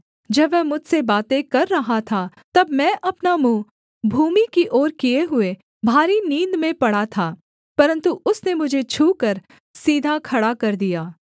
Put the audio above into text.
जब वह मुझसे बातें कर रहा था तब मैं अपना मुँह भूमि की ओर किए हुए भारी नींद में पड़ा था परन्तु उसने मुझे छूकर सीधा खड़ा कर दिया